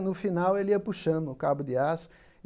No final, ele ia puxando o cabo de aço.